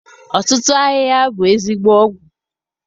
Ọtụtụ ahịhịa bụ ezigbo ọgwụ.